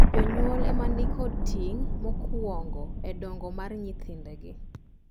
Jonyuol ema ni kod ting’ mokuongo e dongo mar nyithindegi.